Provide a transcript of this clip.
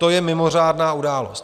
To je mimořádná událost.